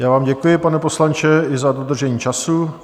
Já vám děkuji, pane poslanče i za dodržení času.